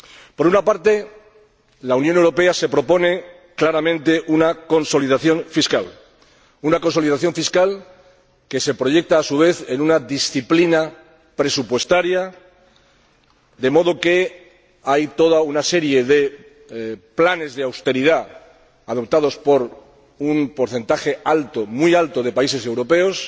Por una parte, la Unión Europea se propone claramente una consolidación fiscal, que se proyecta, a su vez, en una disciplina presupuestaria, de modo que hay toda una serie de planes de austeridad adoptados por un porcentaje alto, muy alto, de países europeos,